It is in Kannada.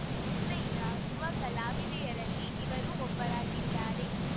ಚೆನ್ನೈನ ಯುವ ಕಲಾವಿದೆಯರಲ್ಲಿ ಇವರೂ ಒಬ್ಬರಾಗಿದ್ದಾರೆ